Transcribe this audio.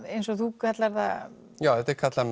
eins og þú kallar það s já þetta er kallað